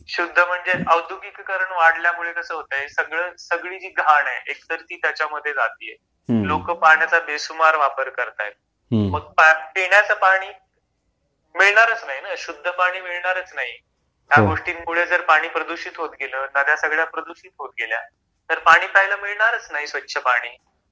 शुद्ध म्हणजे औद्योगीकरण वाढल्यामुळे कस होतंय सगळ सगळी जी घाण आहे एकतर ती त्याच्यामध्ये जातीये हम्म लोक पाण्याचा बेसुमार वापर करताएत हम्म मग पिण्याच पाणी मिळणारच नाही शुद्ध पाणी मिळणारच नाही.. हो ह्या गोष्टींमुळे जर पाणी प्रदूषित होत गेल नद्या सगळ्या प्रदूषित होत गेल्या तर पाणी प्यायला मिळणारच नाही स्वच्छ पाणी